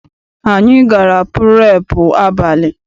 Anyị gara purepu abalị.